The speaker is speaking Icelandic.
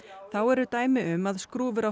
þá eru dæmi um að skrúfur á